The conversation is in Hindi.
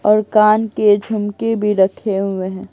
और कान के झुमके भी रखे हुए हैं।